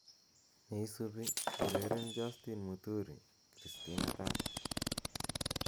neisubi ureren justin muturi kristina dada